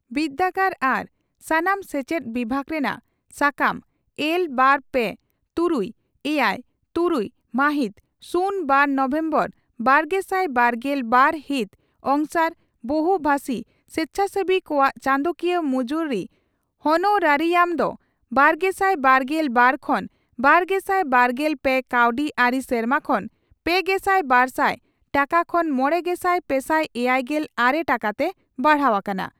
ᱵᱤᱨᱫᱟᱹᱜᱟᱲ ᱟᱨ ᱥᱟᱱᱟᱢ ᱥᱮᱪᱮᱫ ᱵᱤᱵᱷᱟᱜᱽ ᱨᱮᱱᱟᱜ ᱥᱟᱠᱟᱢ ᱮᱞ ᱵᱟᱨ ᱯᱮ ᱛᱩᱨᱩᱭ ᱮᱭᱟᱭ ᱛᱩᱨᱩᱭ ᱢᱟᱦᱤᱛ ᱥᱩᱱ ᱵᱟᱨ ᱱᱚᱵᱷᱮᱢᱵᱚᱨ ᱵᱟᱨᱜᱮᱥᱟᱭ ᱵᱟᱨᱜᱮᱞ ᱵᱟᱨ ᱦᱤᱛ ᱚᱝᱥᱟᱨ ᱵᱚᱦᱩ ᱵᱷᱟᱥᱤ ᱥᱮᱪᱷᱟᱥᱮᱵᱤ ᱠᱚᱣᱟᱜ ᱪᱟᱸᱫᱚᱠᱤᱭᱟᱹ ᱢᱩᱡᱩᱨᱤ ᱦᱚᱱᱳᱨᱟᱨᱤᱭᱟᱢ ᱫᱚ ᱵᱟᱨᱜᱮᱥᱟᱭ ᱵᱟᱨᱜᱮᱞ ᱵᱟᱨ ᱠᱷᱚᱱ ᱵᱟᱨᱜᱮᱥᱟᱭ ᱵᱟᱨᱜᱮᱞ ᱯᱮ ᱠᱟᱹᱣᱰᱤ ᱟᱹᱨᱤ ᱥᱮᱨᱢᱟ ᱠᱷᱚᱱ ᱯᱮᱜᱮᱥᱟᱭ ᱵᱟᱨᱥᱟᱭ ᱴᱟᱠᱟ ᱠᱷᱚᱱ ᱢᱚᱲᱮᱜᱮᱥᱟᱭ ᱯᱮᱥᱟᱭ ᱮᱭᱟᱭᱜᱮᱞ ᱟᱨᱮ ᱴᱟᱠᱟᱛᱮ ᱵᱟᱲᱦᱟᱣ ᱟᱠᱟᱱᱟ ᱾